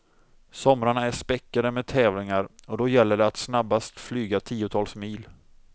Somrarna är späckade med tävlingar och då gäller det att snabbast flyga tiotals mil.